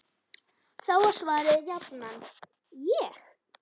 Þá var svarið jafnan: Ég?!